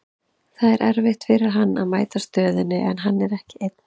Það er erfitt fyrir hann að mæta stöðunni, en hann er ekki einn.